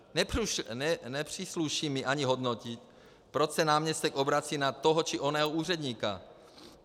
Nepřísluší mi ani hodnotit, proč se náměstek obrací na toho či onoho úředníka.